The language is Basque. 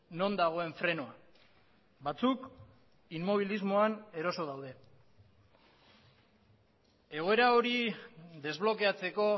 non dagoen frenoa batzuk inmobilismoan eroso daude egoera hori desblokeatzeko